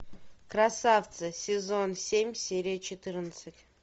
красавцы сезон семь серия четырнадцать